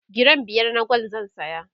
giram biyar na gwal zan saya